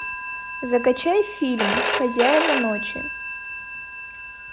закачай фильм хозяева ночи